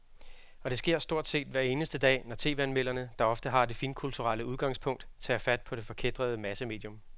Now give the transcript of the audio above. Og det sker stort set hver eneste dag, når tv-anmelderne, der ofte har det finkulturelle udgangspunkt, tager fat på det forkætrede massemedium.